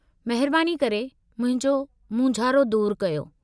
महिरबानी करे मुंहिंजो मूंझारो दूर कयो।